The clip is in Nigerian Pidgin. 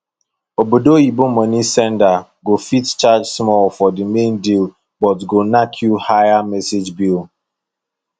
obodo oyibo money senders go fit charge small for the main deal but go knack you higher message bill